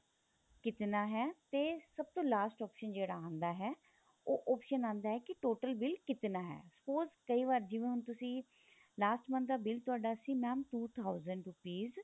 ਕਿਤਨਾ ਹੈ ਤੇ ਸਭ ਤੋਂ last option ਜਿਹੜਾ ਆਂਦਾ ਹੈ ਉਹ option ਆਂਦਾ ਹੈ ਕੀ total ਬਿਲ ਕਿਤਨਾ ਹੈ spose ਕਈ ਵਾਰ ਜਿਵੇਂ ਹੁਣ ਤੁਸੀਂ last month ਦਾ bill ਤੁਹਾਡਾ ਸੀ mam two thousand rupees